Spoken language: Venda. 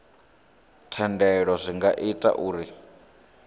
thendelo zwi nga ita uri